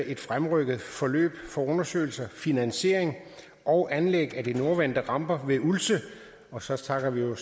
et fremrykket forløb for undersøgelse finansiering og anlæg af de nordvendte ramper ved ulse og så snakker vi jo